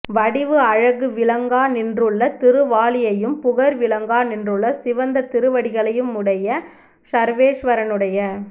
வடிவு அழகு விளங்கா நின்றுள்ள திரு வாழி யையும் புகர் விளங்கா நின்றுள்ள சிவந்த திருவடிகளையும் யுடைய சர்வேஸ்வரனுடைய